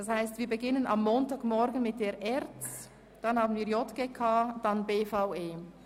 Am Montagmorgen beginnen wir also mit der ERZ, dann folgen die JGK und die BVE.